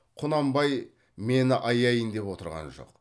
құнанбай мені аяйын деп отырған жоқ